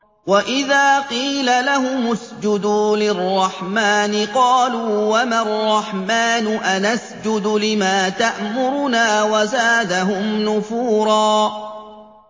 وَإِذَا قِيلَ لَهُمُ اسْجُدُوا لِلرَّحْمَٰنِ قَالُوا وَمَا الرَّحْمَٰنُ أَنَسْجُدُ لِمَا تَأْمُرُنَا وَزَادَهُمْ نُفُورًا ۩